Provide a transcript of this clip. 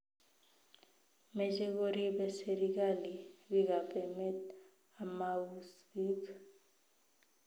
Meche koribe serikali bikap emet amauus biik